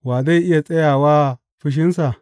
Wa zai iya tsaya wa fushinsa?